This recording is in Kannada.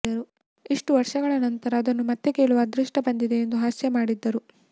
ಇಷ್ಟು ವರ್ಷಗಳ ನಂತರ ಅದನ್ನು ಮತ್ತೆ ಕೇಳುವ ಅದೃಷ್ಟ ಬಂದಿದೆ ಎಂದು ಹಾಸ್ಯ ಮಾಡಿದ್ದರು